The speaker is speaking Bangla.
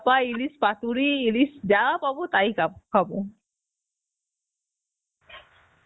পা, ইলিশ পাতুরি ইলিশ যা পাবো তাই খা~ খাব